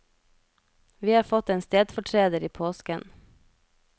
Vi har fått en stedfortreder i påsken.